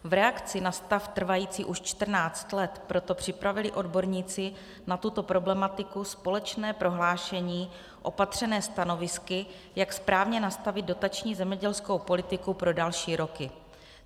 V reakci na stav trvající už 14 let proto připravili odborníci na tuto problematiku společné prohlášení opatřené stanovisky, jak správně nastavit dotační zemědělskou politiku pro další roky.